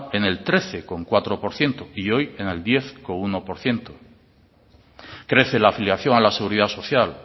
en el trece coma cuatro por ciento y hoy en el diez coma uno por ciento crece la afiliación a la seguridad social